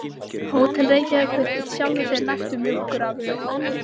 Hótel Reykjavík virtist sjálfu sér nægt um mjólkurafurðir.